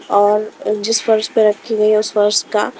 और जिस फर्श पे रखी गई हैउस फर्श का--